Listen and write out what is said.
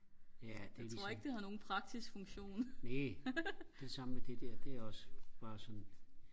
ja det ligesom næh det er det samme med det der det er også bare sådan